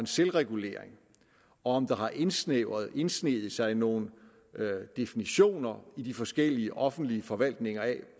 selvregulering og om der har indsneget indsneget sig nogle definitioner i de forskellige offentlige forvaltninger af